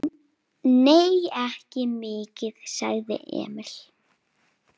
Nei, ekki mikið, sagði Emil.